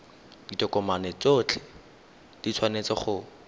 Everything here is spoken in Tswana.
ditokomane tsotlhe di tshwanetse go